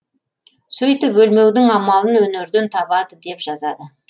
сөйтіп өлмеудің амалын өнерден табады деп жазады